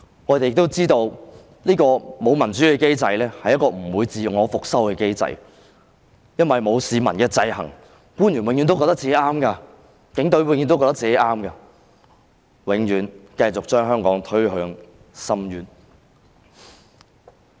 我們亦知道這個沒有民主的機制，是一個不會自我修復的機制，因為沒有市民的制衡，官員、警隊永遠也覺得自己是正確的，會永遠繼續把香港推向深淵。